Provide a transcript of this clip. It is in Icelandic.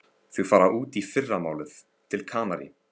Þau fara út í fyrramálið, til Kanarí.